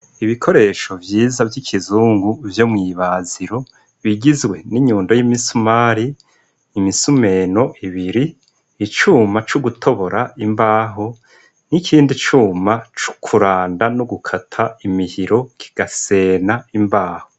Ibikoresho vyiza vy'ikizungu vyo mw'ibaziro bigizwe n'inyundo y'imisumari, imisumeno ibiri, icuma co gutobora imbaho n'ikindi cuma co kuranda no gukata imihiro kigasena imbaho.